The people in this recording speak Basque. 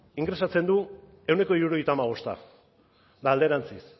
ingresatzen du ehuneko hirurogeita hamabost eta alderantziz